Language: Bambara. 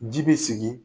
Ji bɛ sigi